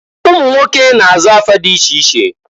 Umunwoke na-aza afa di iche iche.